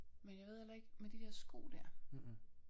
Men jeg ved heller ikke med de der sko der